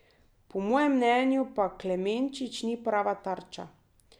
Po mojem mnenju pa Klemenčič ni prava tarča.